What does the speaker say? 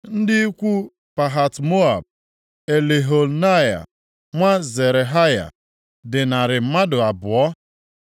Ndị ikwu Pahat-Moab, Eliehoenai nwa Zerahaya dị narị mmadụ abụọ (200),